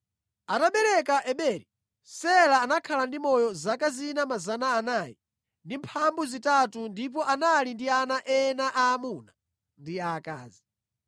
Atabereka Eberi, Sela anakhala ndi moyo zaka zina 403 ndipo anali ndi ana ena aamuna ndi aakazi.